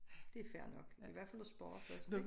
Det fair nok i hvert fald at spørge først ik